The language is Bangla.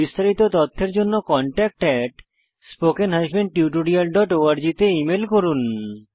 বিস্তারিত তথ্যের জন্য contactspoken tutorialorg তে মেল করুন